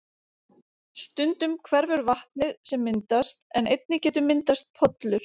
Stundum hverfur vatnið sem myndast en einnig getur myndast pollur.